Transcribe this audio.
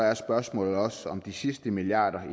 er spørgsmålet også om de sidste milliarder